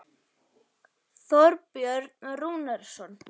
Þorbjörn Rúnarsson.